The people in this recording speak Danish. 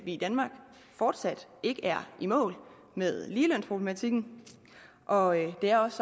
i danmark fortsat ikke er i mål med ligelønsproblematikken og det er også